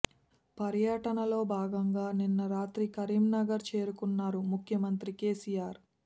పర్యటనలో భాగంగా నిన్న రాత్రి కరీంనగర్ చేరుకున్నారు ముఖ్యమంత్రి కేసీఆర్